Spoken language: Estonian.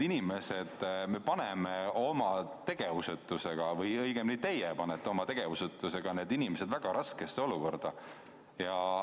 Me paneme oma tegevusetusega või õigemini teie panete oma tegevusetusega need inimesed väga raskesse olukorda.